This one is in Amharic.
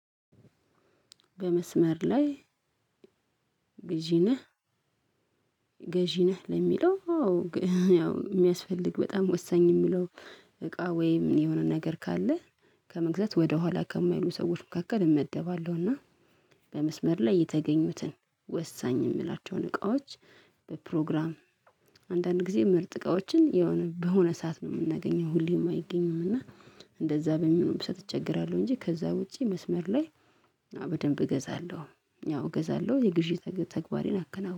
በመስመር ላይ ገዢ ነህ? ገዢ ነህ ለሚለው አው ያው የሚያስፈልግ በጣም ወሳኝ የምለው እቃ ወይም የሆነ ነገር ካለ ከመግዛት ወደኋላ ከማይሉ ሰዎች መካከል እመደባለሁ። እና በመስመር ላይ የተገኙትን ወሳኝ የምላቸውን እቃዎች በፕሮግራም አንዳንድ ጊዜ ምርጥ እቃዎችን የሆነ በሆነ ሰዓት ነው የምናገኘው ሁሌም አይገኝም። እና እንደዛ በሚሆንበት ሰዓት እቸገራለሁ እንጂ ከዛ ውጪ መስመር ላይ በደንብ እገዛለሁ። ያው እገዛለሁ። የግዢ ተግባሬን አከናውናለሁ።